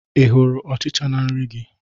Ị hụrụ Ọchịcha na nri gị?